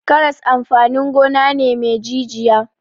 Karas amfanin gona ne me jijiya.